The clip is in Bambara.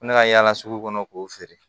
Ko ne ka yaala sugu kɔnɔ k'o feere